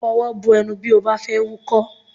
Fọwọ́ bo ẹnu bí ó bá fẹ́ wúkọ́!